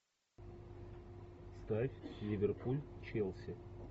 ставь ливерпуль челси